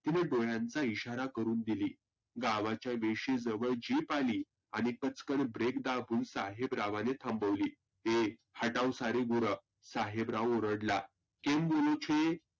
तिने डोळ्यांचा इशारा करुण दिली गावाच्या वेशिजवळ Jeep आली. आणि कचकन break दाबून साहेबरावांनी थांबवली. ए हटाव सारी गुरं, साहेबराव ओरडला. केम बोलु छे?